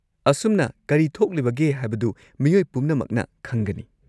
ꯑꯁꯨꯝꯅ ꯀꯔꯤ ꯊꯣꯛꯂꯤꯕꯒꯦ ꯍꯥꯏꯕꯗꯨ ꯃꯤꯑꯣꯏ ꯄꯨꯝꯅꯃꯛꯅ ꯈꯪꯒꯅꯤ꯫